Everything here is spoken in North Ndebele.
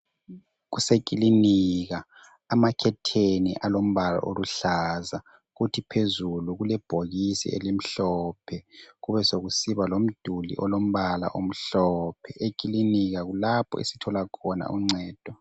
Kusekilinika amakhetheni alombala oluhlaza kuthi phezulu kulebhokisi elimhlophe. Kubesokusiba lomduli olombala omhlophe. Ekilinika kulapho esithola khona uncedo.